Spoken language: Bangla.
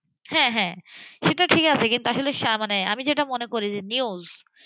হ্যাঁ হ্যাঁসেটা ঠিক আছে কিন্তু আসলে আমি যেটা মনে করি যে news,